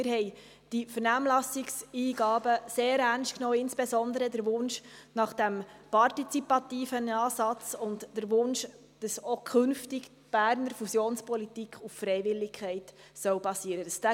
Wir haben die Vernehmlassungseingaben sehr ernst genommen, insbesondere den Wunsch nach dem partizipativen Ansatz sowie den Wunsch, dass auch künftig die Berner Fusionspolitik auf Freiwilligkeit basieren soll.